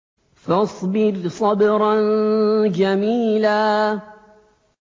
فَاصْبِرْ صَبْرًا جَمِيلًا